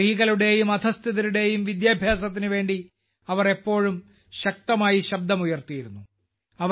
സ്ത്രീകളുടെയും അധസ്ഥിതരുടെയും വിദ്യാഭ്യാസത്തിന് വേണ്ടി അവർ എപ്പോഴും ശക്തമായി ശബ്ദമുയർത്തിയിരുന്നു